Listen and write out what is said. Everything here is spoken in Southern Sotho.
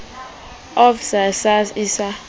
of sa hpcsa e sa